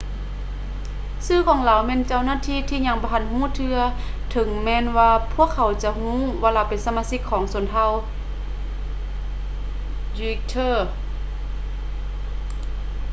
ຊື່ຂອງລາວແມ່ນເຈົ້າໜ້າທີ່ຍັງບໍ່ທັນຮູ້ເທື່ອ ເຖິງແມ່ນວ່າພວກເຂົາຈະຮູ້ວ່າລາວເປັນສະມາຊິກຂອງຊົນເຜົ່າ uighur